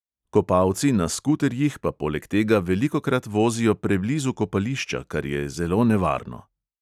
Kopalci na skuterjih pa poleg tega velikokrat vozijo preblizu kopališča, kar je zelo nevarno.